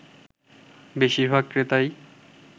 বেশিরভাগ ক্রেতাই